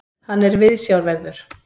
Hann er viðsjárverður.